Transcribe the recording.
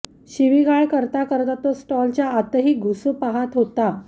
शिवीगाळ करता करता तो स्टॉलच्या आतही घुसू पाहत होता